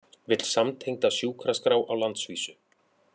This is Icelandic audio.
Vill samtengda sjúkraskrá á landsvísu